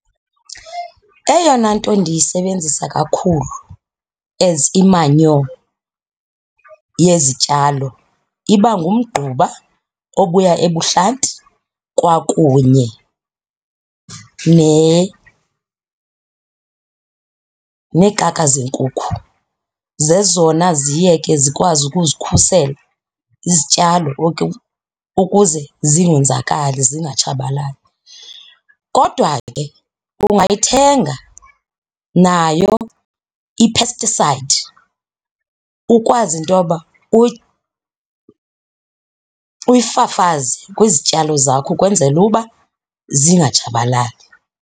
Eyona nto ndiyisebenzisa kakhulu as imanyo yezityalo iba ngumgquba obuya ebuhlanti kwakunye neekaka zenkukhu. Zezona ziye ke zikwazi ukuzikhusela izityalo ukuze zingenzakali zingatshabalali, kodwa ke ungayithenga nayo i-pesticide ukwazi into yoba uyifafaze kwizityalo zakho ukwenzela uba zingatshabalali.